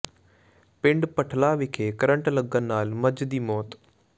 ਪਿੰਡ ਭੱਠਲਾ ਵਿਖੇ ਕਰੰਟ ਲੱਗਣ ਕਾਰਨ ਮੱਝ ਦੀ ਮੌਤ